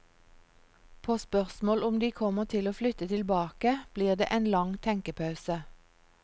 På spørsmål om de kommer til å flytte tilbake, blir det en lang tenkepause.